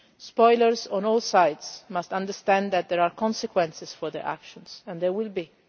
Spoilers on all sides must understand that there are consequences for their actions, and there will be.